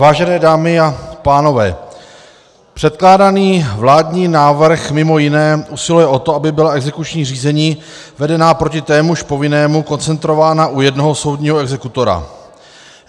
Vážené dámy a pánové, předkládaný vládní návrh mimo jiné usiluje o to, aby byla exekuční řízení vedená proti témuž povinnému koncentrována u jednoho soudního exekutora.